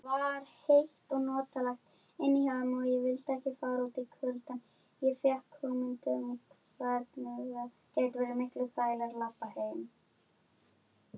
Hvað viltu að ég geri?